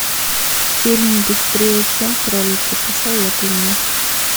фильм быстрее чем кролики посоветуй мне